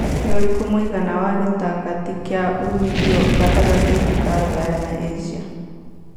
nĩ ũrikũ mũigana wa gĩtangati kia ũmithio gatagatiinĩ ka rũraya na asia